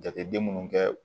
Jateden minnu kɛ